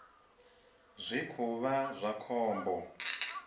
zwi khou vha zwa khombo